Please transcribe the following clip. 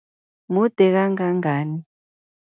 Mude kangangani?